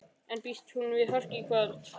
En býst hún við hörku í kvöld?